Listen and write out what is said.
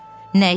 Nəyi?